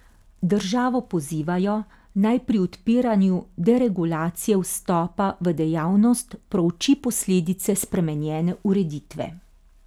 Državo pozivajo, naj pri odpiranju deregulacije vstopa v dejavnost prouči posledice spremenjene ureditve.